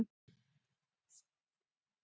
Hvað ber til þess?